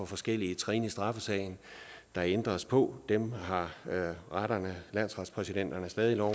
forskellige trin i straffesagen der ændres på dem har retterne og landsretspræsidenterne stadig lov